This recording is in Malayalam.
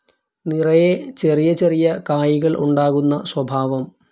നിറയെ ചെറിയ ചെറിയ കായ്കൾ ഉണ്ടാകുന്ന സ്വഭാവം.